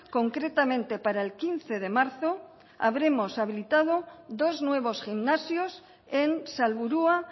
concretamente para el quince de marzo habremos habilitado dos nuevos gimnasios en salburua